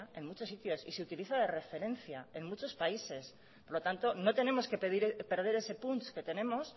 en muchos sitios y se utiliza de referencia en muchos países por lo tanto no tenemos que perder ese punch que tenemos